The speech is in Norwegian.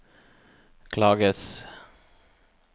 klages